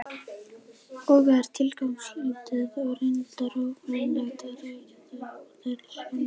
og er tilgangslítið og reyndar ógerningur að rekja þær hér.